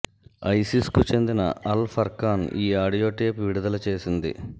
ఐసిస్కు చెందిన Al Furqan ఈ audio tape విడుదల చేసింది